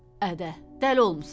Ədə, dəli olmusan?